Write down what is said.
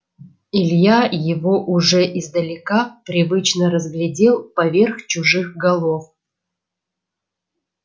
илья его уже издалека привычно разглядел поверх чужих голов